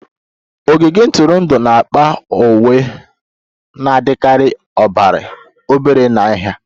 Ogige ntụrụndụ n'akpa uwe na-adịkarị obere na nha